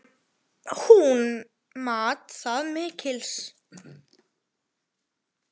Hún mat það mikils.